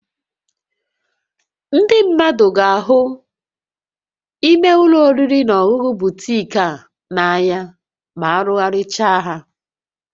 Ndị mmadụ ga-ahụ imé ụlọ oriri na ọṅụṅụ butiik a n'anya ma arụgharịchaa ha